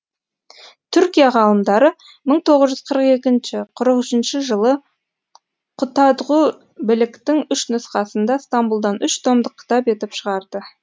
түркия ғалымдары мың тоғыз жүз қырық екінші қырық үшінші жылы құтадғу білігтің үш нұсқасын да стамбұлдан үш томдық кітап етіп шығарды